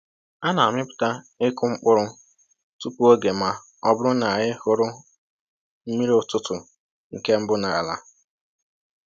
A na‑amịpụta ịkụ mkpụrụ tupu oge ma ọ bụrụ na anyị hụrụ mmiri ụtụtụ nke mbụ n’ala